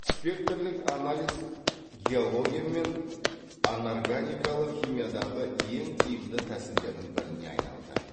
спектрлік анализ геология мен анорганикалық химиядағы ең тиімді тәсілдердің біріне айналды